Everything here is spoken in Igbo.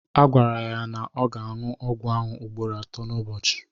Agwara ya na ọ ga na-aṅụ ọgwụ ahụ ugboro atọ n'ụbọchị